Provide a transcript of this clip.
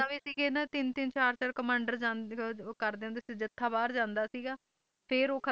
ਸੀਗਾ ਕਿ ਤਿੰਨ ਤਿੰਨ ਚਾਰ ਚਾਰ ਕਮਾਂਡਰ ਕਰਦੇ ਹੋਏ ਜੱਥਾ ਬਾਹਰ ਜਾਂਦਾ ਸੀਗਾ ਫੇਰ ਉਹ ਖਤਮ ਹੋ ਜਾਂਦੇ